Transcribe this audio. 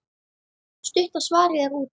Stutta svarið er útrás.